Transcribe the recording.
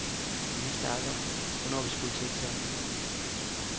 Vi vidste aldrig, hvornår vi skulle til eksamen.